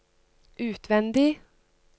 utvendig